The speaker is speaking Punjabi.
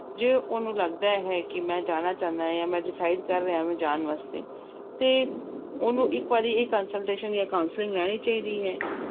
ਜੇ ਉਹਨੂੰ ਲੱਗਦਾ ਹੈ ਕਿ ਮੈਂ ਜਾਣਾ ਚਾਹੁਨਾ ਜਾਂ ਮੈਂ decide ਕਰ ਰਿਹਾ ਜਾਣ ਵਾਸਤੇ ਤੇ ਉਹਨੂੰ ਇੱਕ ਵਾਰੀ ਇਹ consultation ਜਾਂਂ counselling ਲੈਣੀ ਚਾਹੀਦੀ ਹੈ।